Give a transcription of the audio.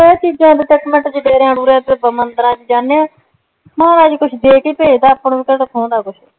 ਆ ਚੀਜ਼ਾ ਤੇ ਅੱਜ ਤੱਕ ਡੇਰੇ ਦੁਰੇਆ ਚ ਮੰਦਰਾ ਚ ਜਾਣੇ ਆ ਮਹਾਰਾਜ ਕੁਛ ਦੇ ਕੇ ਪੇਜਦਾ ਕਿਹੜਾ ਖੁਹਨਦਾ ਕੁਛ